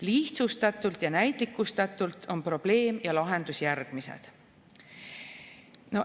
Lihtsustatult ja näitlikustatult on probleem ja lahendus järgmised.